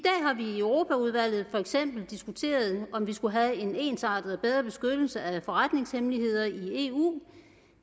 europaudvalget for eksempel diskuteret om vi skulle have en ensartet og bedre beskyttelse af forretningshemmeligheder i eu